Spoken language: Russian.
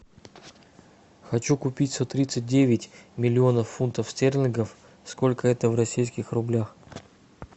хочу купить сто тридцать девять миллионов фунтов стерлингов сколько это в российских рублях